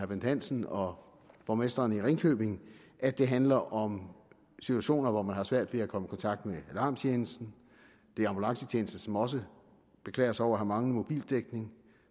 bent hansen og borgmesteren i ringkøbing at det handler om situationer hvor man har svært ved at komme i kontakt med alarmtjenesten det er ambulancetjenesten som også beklager sig over at have manglende mobildækning